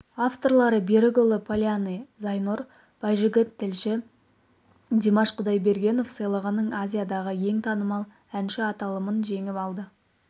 авторлары берікұлы полянный зайнұр байжігіт тілші димаш құдайбергенов сыйлығының азиядағы ең танымал әнші аталымын жеңіп алды